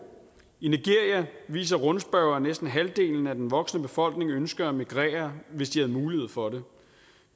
i nigeria viser rundspørger at næsten halvdelen af den voksne befolkning ønsker at migrere hvis de fik mulighed for